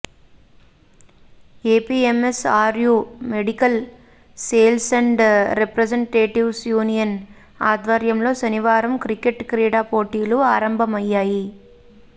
APMSRU medical sales and representatives union ఆధ్వర్యంలో శనివారం cricket క్రీడా పోటీలు ఆరంభమయ్యాయి